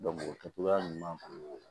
o kɛcogoya ɲuman na